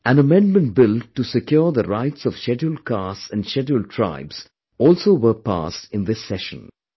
An amendment bill to secure the rights of scheduled castes and scheduled tribes also were passed in this session